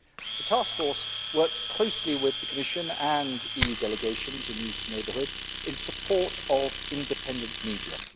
The Task Force works closely with the Commission and EU delegations in the eastern neighbourhood in support of independent media.